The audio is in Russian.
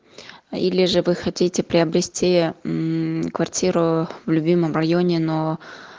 или же вы хотите приобрести квартиру в любимом районе но